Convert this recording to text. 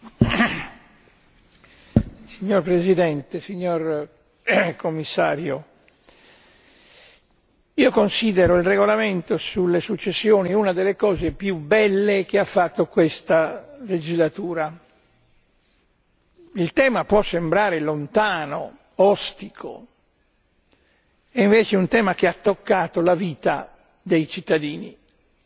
Signor Presidente, onorevoli colleghi, signor Commissario, io considero il regolamento sulle successioni una delle cose più belle che ha fatto questa legislatura. Il tema può sembrare lontano, ostico, invece è un tema che ha toccato la vita dei cittadini in quanto cittadini europei.